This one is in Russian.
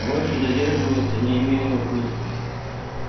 больше задерживаться не имело смысла